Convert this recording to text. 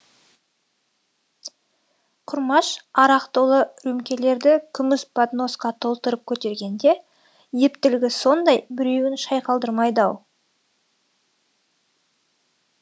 құрмаш арақ толы рюмкелерді күміс подносқа толтырып көтергенде ептілігі сондай біреуін шайқалдырмайды ау